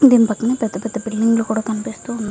దీని పక్కన పెద్ద పెద్ద బిల్డింగులు కూడా కనిపిస్తున్నాయి.